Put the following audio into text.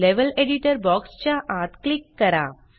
level editor box च्या आत click करा